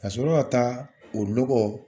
Ka sɔrɔ ka taa o nɔgɔ